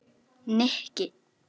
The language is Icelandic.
Nikki